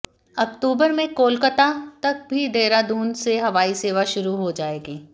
अक्टूबर में कोलकात्ता तक भी देहरादून से हवाई सेवा शुरू हो जाएगी